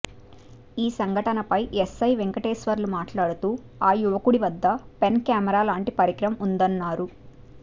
ఈ సంఘటనపై ఎస్సై వెంకటేశ్వర్లు మాట్లాడుతూ ఆ యువకుడి వద్ద పెన్ కెమెరాలాంటి పరికరం ఉందన్నారు